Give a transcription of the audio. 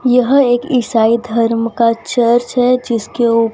यह एक ईसाई धर्म का चर्च है जिसके उप --